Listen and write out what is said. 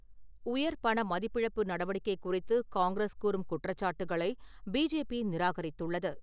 உயர் பண மதிப்பிழப்பு நடவடிக்கை குறித்து காங்கிரஸ் கூறும் குற்றச்சாட்டுக்களை பிஜேபி நிராகரித்துள்ளது.